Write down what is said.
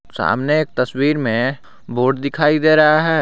सामने एक तस्वीर में बोर्ड दिखाई दे रहा है।